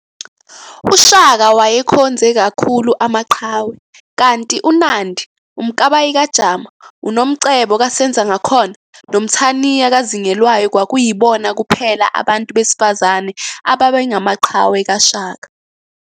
uShaka waye wakhonze khakhulu amaqhawe, kanti uNandi, uMkabayi kaJama, uNomcebo kaSenzangakhona noMthaniya kaZingelwayo kwakuyibona kuphela abantu besifazane ababengamaqhawe kaShaka